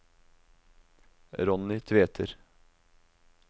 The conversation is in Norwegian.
Ronny Tveter